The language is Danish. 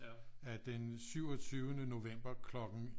At den syvogtyvende november klokken